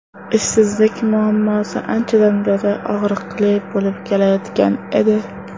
Ishsizlik muammosi anchadan beri og‘riqli bo‘lib kelayotgan edi.